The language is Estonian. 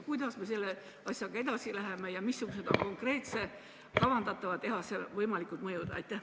Kuidas me selle asjaga edasi läheme ja missugused on kavandatava tehase võimalikud mõjud?